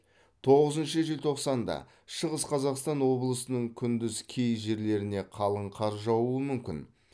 тоғызыншы желтоқсанда шығыс қазақстан облысының күндіз кей жерлеріне қалың қар жаууы мүмкін